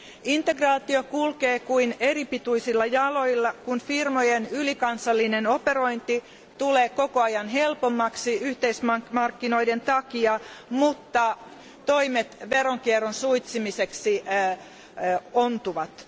Integraatio kulkee kuin eripituisilla jaloilla, kun firmojen ylikansallinen operointi tulee koko ajan helpommaksi yhteismarkkinoiden takia, mutta toimet veronkierron suitsimiseksi ontuvat.